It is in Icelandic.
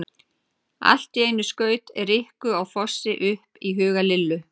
Allt í einu skaut Rikku á Fossi upp í huga Lillu.